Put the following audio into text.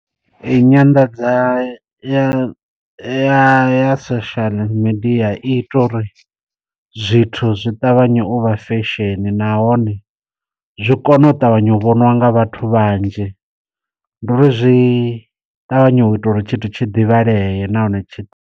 Eyi nyanḓadza ya ya social media i ita uri zwithu zwi ṱavhanye u vha fesheni na hone zwi kone u ṱavhanya u vhoniwa nga vhathu vhanzhi, nduri zwi ṱavhanyo ita uri tshithu tshi ḓivhaleye nahone tshi.